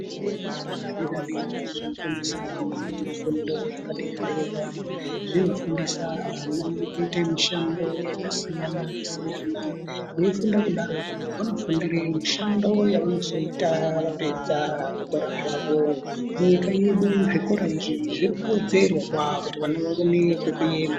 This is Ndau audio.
Zvikora zvepadera-dera zvofundisa ana mifundo yepadera-dera. Zvinofundisa ana kuite mishando yakasiyana-siyana. Veifunda kudaroko vanofundire mishando yavanozoita vapedza zvikora zvavo. Munyika yedu zvikora izvi zvirikuwedzerwa kuti vana vaone kwekuenda.